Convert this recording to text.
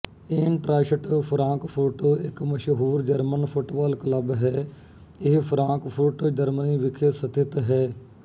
Eintracht Frankfurt ਇੱਕ ਮਸ਼ਹੂਰ German football club ਹੈ ਇਹ ਫ਼ਰਾਂਕਫ਼ੁਰਟ ਜਰਮਨੀ ਵਿਖੇ ਸਥਿਤ ਹੈ